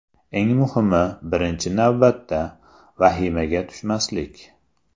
Eng muhimi, birinchi navbatda, vahimaga tushmaslik.